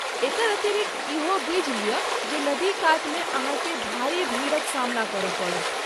एकर अतिरिक्त इहो बुझि लिअ जे नदीकातमे अहाँकेँ भारी भीड़क सामना करय पड़त।